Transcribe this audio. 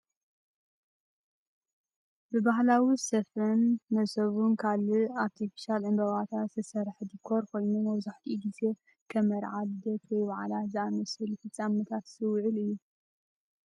ብባህላዊ ስፈን መሶብን ካልእን ኣርቲፊሻል ዕምባባታት ዝተሰርሐ ዲኮር ኮይኑ፡ መብዛሕትኡ ግዜ ከም መርዓ፡ ልደት፡ ወይ በዓላት ዝኣመሰሉ ፍጻመታት ዝውዕል እዩ።